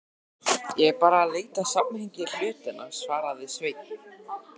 Ég er bara að leita að samhengi hlutanna, svaraði Sveinn.